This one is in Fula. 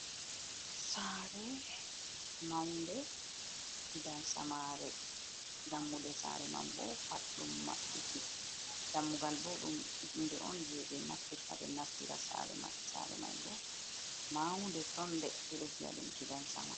Sare, maunde, gidan samare, dammuɗe sare man bo pat ɗum mabbiti, dammugal bo ɗum hunde on je be naftirta be nastira sare mai sare mai bo maunde tonde peɗo viyaɗum gidan sama.